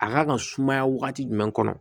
A kan ka sumaya wagati jumɛn kɔnɔ